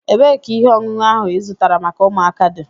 Ebeé ka ihe ọṅụṅụ áhù ị zụtara maka ụmụaka di?